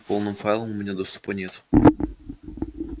к полным файлам у меня доступа нет